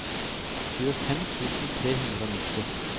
tjuefem tusen tre hundre og nitti